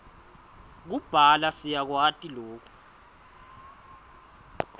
kubhala siyakwati loku